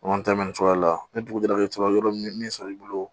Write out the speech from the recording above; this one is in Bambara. cogoya la ni dugu jɛra i bɛ sɔrɔ yɔrɔ min sɔrɔ i bolo